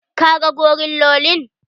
Ka ga gorillolin?